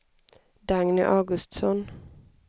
Dagny Augustsson